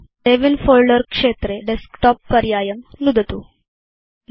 अथ save in folder क्षेत्रे अधस्तनबाणं नुदतु डेस्कटॉप पर्यायं नुदतु च